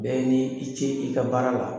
Bɛɛ ni i ce i ka baara la.